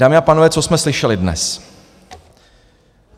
Dámy a pánové, co jsme slyšeli dnes?